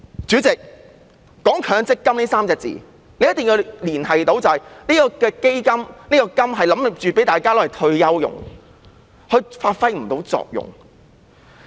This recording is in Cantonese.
主席，"強積金"這3個字的重點是"金"字，即向退休人士提供金額，但實際情況是，強積金發揮不到作用。